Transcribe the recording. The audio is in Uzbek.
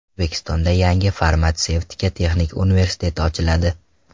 O‘zbekistonda yangi Farmatsevtika texnik universiteti ochiladi.